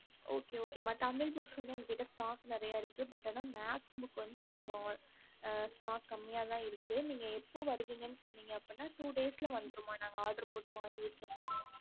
okey okay தமிழ் book எங்க கிட்ட இருக்கு maths book இல்ல ம நீங்க எப்ப வருவீங்கன்னு சொன்னிங்க ந நாங்க two days odear போட்டுவோம்